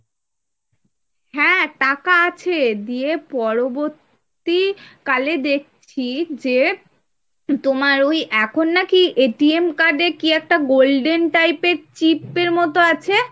হ্যাঁ টাকা আছে দিয়ে পরবর্তীকালে দেখছি যে, তোমার ওই এখন নাকি card এ কি একটা golden type এর chip এর মতো আছে ,